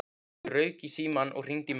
Ég rauk í símann og hringdi í mömmu.